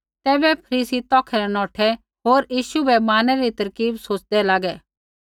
तैबै फरीसी तौखै न नौठै होर यीशु बै मारनै री तरकीब सोच़दै लागै